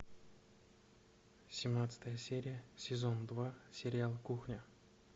семнадцатая серия сезон два сериал кухня